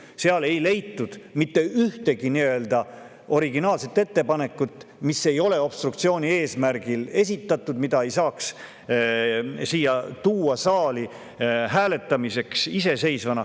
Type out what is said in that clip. Nende seast ei leitud mitte ühtegi originaalset ettepanekut, mis ei ole nagu obstruktsiooni eesmärgil esitatud ja mille saaks iseseisvana saali hääletamiseks tuua.